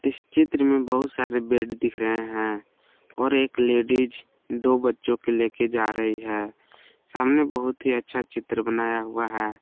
इस चित्र में बहुत सारे बेड दिख रहे हैं और एक लेडिज दो बच्चों के ले के जा रही है सामने बहुत ही अच्छा चित्र बनाया हुआ है।